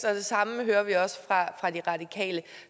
og det samme hører vi også fra de radikale